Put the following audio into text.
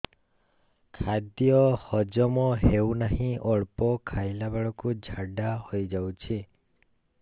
ଖାଦ୍ୟ ହଜମ ହେଉ ନାହିଁ ଅଳ୍ପ ଖାଇଲା ବେଳକୁ ଝାଡ଼ା ହୋଇଯାଉଛି